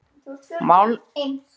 Málningin er dálítið eydd.